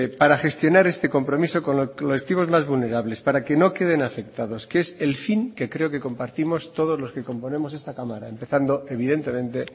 para gestionar este compromiso con los colectivos más vulnerables para que no queden afectados que es el fin que creo que compartimos todos los que componemos esta cámara empezando evidentemente